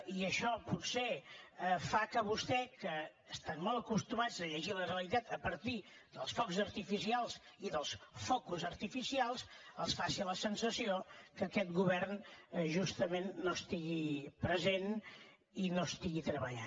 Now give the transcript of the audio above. i això potser fa que a vostès que estan molt acostumats a llegir la realitat a partir dels focs artificials i dels focus artificials els faci la sensació que aquest govern justament no estigui present i no treballi